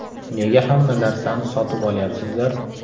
Nega hamma narsani sotib olyapsizlar?